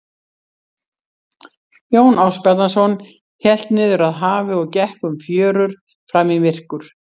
Jón Ásbjarnarson hélt niður að hafi og gekk um fjörur fram í myrkur.